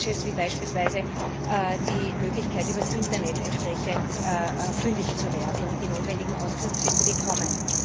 Und Praktisches wie beispielsweise die Möglichkeit, über das Internet entsprechend fündig zu werden und die notwendigen Auskünfte zu bekommen.